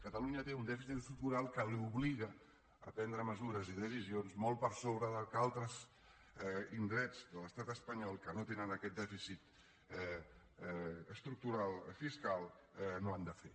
catalunya té un dèficit estructural que l’obliga a prendre mesures i decisions molt per sobre del que altres indrets de l’estat espanyol que no tenen aquest dèficit estructural fiscal no han de fer